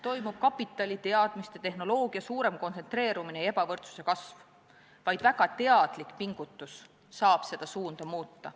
Toimub kapitali, teadmiste ja tehnoloogia suurem kontsentreerumine ja ebavõrdsuse kasv, vaid väga teadlik pingutus saab seda suunda muuta.